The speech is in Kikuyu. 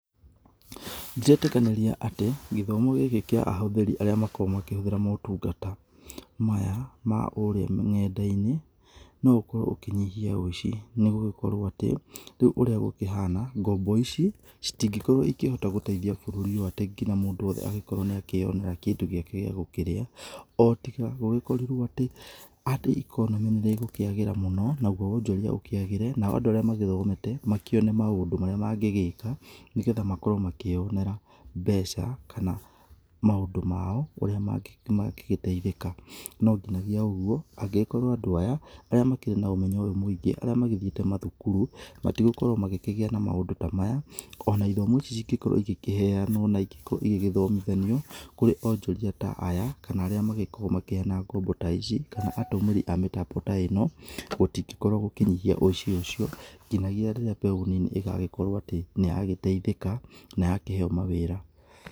Ndiretĩkanĩria atĩ gĩthomo gĩkĩ kĩa ahũthĩri arĩa makoragwo makĩhũthĩra motungata maya ma kũrĩa ng'enda-inĩ no ũkorwo ũkĩnyihia ũici. Nĩgũgĩkorwo atĩ rĩu ũrĩa gũkĩhana ngombo ici itingĩkorwo ĩkĩhota gũteithia bũrũri ũyũ atĩ nginya mũndũ wothe angĩkorwo nĩakĩyonera kĩndũ gĩake gĩa gũkĩrĩa ũtiga gũgĩkorirwo atĩ ĩkonomĩ nĩrĩgũkĩagĩra mũno naguo wonjoria ũkĩagĩre, nao andũ arĩa mathomete makĩone maũndũ marĩa mangĩgĩka nĩgetha makorwo makĩyonera mbeca kana maũndũ mao ũrĩa mangĩgĩteithĩka. No nginyagia ũguo angĩgĩkorwo andũ aya arĩa makĩrĩ na ũmenyo ũyũ mũingĩ arĩa magĩthiĩte mathukuru matĩgakorwo magĩkĩgia na maũndũ ta maya ona ithomo ici cingĩkorwo igĩkĩheyanwo na igĩgĩthomithanio kũrĩ onjoria ta aya kana arĩa magĩkoragwo makĩheyana ngombo ta ici kana ahũthĩri a mĩtambo ta ĩno gũtĩngĩkorwo gũkũnyihia ũici ũcio, nginagĩa rĩrĩa mbeũ nini ĩgagĩkorwo atĩ nĩyagĩteithĩka na yakĩheyo ma wĩra.